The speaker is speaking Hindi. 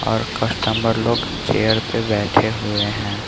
और कस्टमर लोग चेयर पे बैठे हुए हैं।